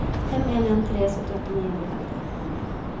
fem en en tre syttiåtte ni hundre og femti